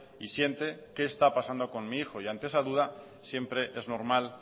y siente qué está pasando con mi hijo y ante esa duda siempre es normal